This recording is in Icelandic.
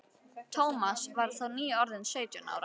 Thomas var þá nýorðinn sautján ára.